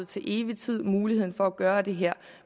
til evig tid muligheden for at gøre det her